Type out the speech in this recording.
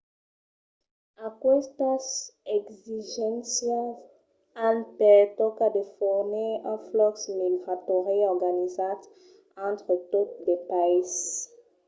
aquestas exigéncias an per tòca de fornir un flux migratòri organizat entre totes dos païses